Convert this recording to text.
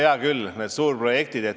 Hea küll, need suurprojektid.